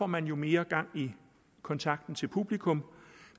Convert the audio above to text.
man får mere gang i kontakten til publikum